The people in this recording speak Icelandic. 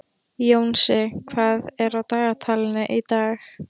Jónsi, hvað er á dagatalinu í dag?